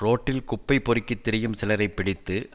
ரோட்டில் குப்பை பொறுக்கித் திரியும் சிலரைப் பிடித்து